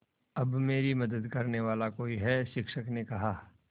अब मेरी मदद करने वाला कोई है शिक्षक ने कहा